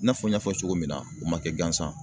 I n'a fɔ n y'a fɔ cogo min na u ma kɛ gansan